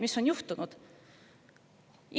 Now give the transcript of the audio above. Mis on juhtunud?